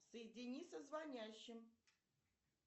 соедини со звонящим